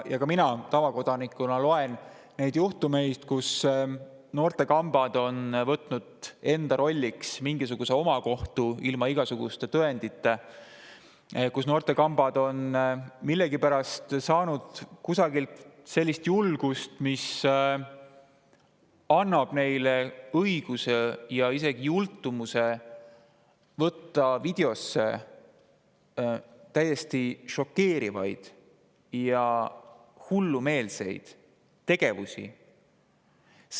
Ka mina tavakodanikuna loen nendest juhtumitest, kus noortekambad on võtnud enda rolliks mingisuguse omakohtu ilma igasuguste tõenditeta ja kus noortekambad on millegipärast saanud kusagilt sellist julgust, mis annab neile õiguse ja isegi jultumuse võtta videosse täiesti šokeerivaid ja hullumeelseid tegevusi.